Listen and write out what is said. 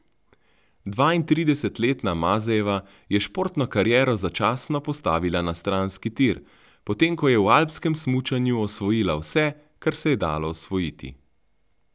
Dvaintridesetletna Mazejeva je športno kariero začasno postavila na stranski tir, potem ko je v alpskem smučanju osvojila vse, kar se je dalo osvojiti.